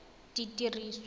ditiriso